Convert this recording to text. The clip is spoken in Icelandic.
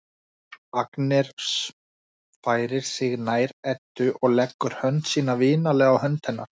Agnes færir sig nær Eddu og leggur hönd sína vinalega á hönd hennar.